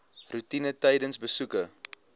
roetine tydens besoeke